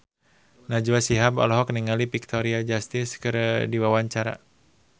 Najwa Shihab olohok ningali Victoria Justice keur diwawancara